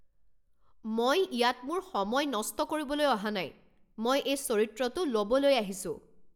মই ইয়াত মোৰ সময় নষ্ট কৰিবলৈ অহা নাই! মই এই চৰিত্ৰটো ল'বলৈ আহিছোঁ।